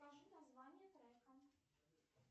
скажи название трека